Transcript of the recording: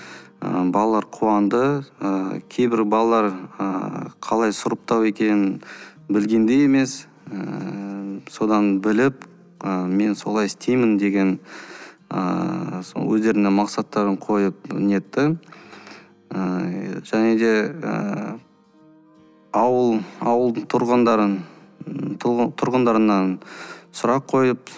і балалар қуанды ы кейбір балалар ыыы қалай сұрыптау екенін білген де емес ыыы содан біліп мен солай істеймін деген ыыы сол өздеріне мақсаттарын қойып нетті ыыы және де ыыы ауыл ауыл тұрғындарын і тұрғындарынан сұрақ қойып